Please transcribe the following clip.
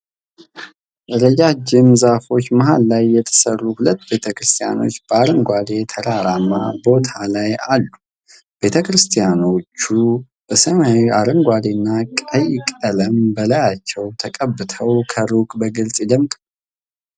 ረጃጅም ዛፎች መሃል የተሰሩ ሁለት ቤተ ክርስቲያኖች በአረንጓዴ ተራራማ ቦታ ላይ አሉ። ቤተ ክርስቲያኖቹ በሰማያዊ፣ አረንጓዴና ቀይ ቀለም በላያቸው ተቀብተው ከሩቅ በግልጽ ይደምቃሉ።